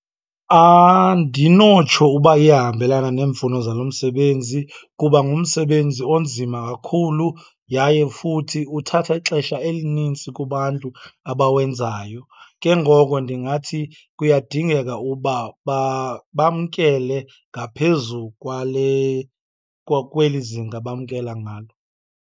Andinotsho uba iyahambelana neemfuno zalo msebenzi kuba ngumsebenzi onzima kakhulu yaye futhi uthatha ixesha elinintsi kubantu abawenzayo. Ke ngoko ndingathi kuyadingeka uba bamkele ngaphezu kwale kweli zinga bamkela ngalo.